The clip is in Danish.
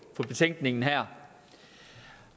betænkningen her